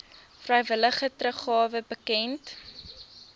vrywillige teruggawe bekend